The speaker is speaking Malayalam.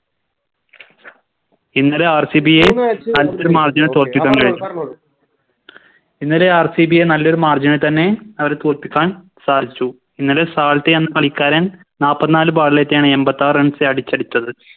ഇന്നലെ RCB യെ ഇന്നലെ RCB യെ നല്ലൊരു Margine ൽ തന്നെ അവരെ തോൽപ്പിക്കാൻ സാധിച്ചു ഇന്നലെ സാൾട്ട് എന്ന കളിക്കാരൻ നാപ്പത്ത് നാല് Bowl ഏറ്റിയാണ് എമ്പത്താറ് Runs അടിച്ചെടുത്തത്